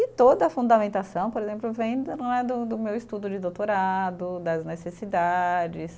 E toda a fundamentação, por exemplo, vem do né, do do meu estudo de doutorado, das necessidades.